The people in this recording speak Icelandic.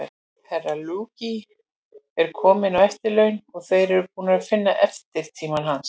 Herra Luigi er kominn á eftirlaun, og þeir eru búnir að finna eftirmann hans.